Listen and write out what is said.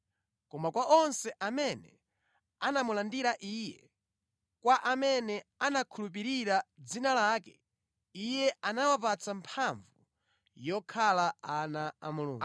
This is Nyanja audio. Koma kwa onse amene anamulandira Iye, kwa amene anakhulupirira mʼdzina lake, Iye anawapatsa mphamvu yokhala ana a Mulungu;